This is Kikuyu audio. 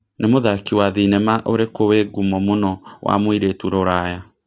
nĩ mũthaki wa thĩnema ũrikũ wĩ ngũmo mũno wa mũĩrĩtu rũraya